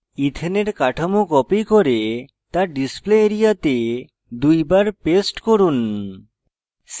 ইথেনের কাঠামো copy করে তা display area তে দুইবার paste করুন